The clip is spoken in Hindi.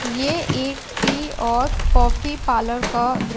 ये एक टी और कॉफ़ी पार्लुर का द्र--